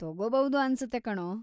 ತಗೋಬೌದು ಅನ್ಸತ್ತೆ ಕಣೋ.